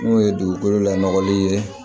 N'o ye dugukolo lanɔgɔli ye